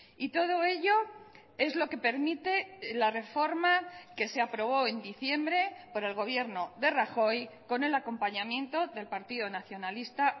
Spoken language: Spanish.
y todo ello es lo que permite la reforma que se aprobó en diciembre por el gobierno de rajoy con el acompañamiento del partido nacionalista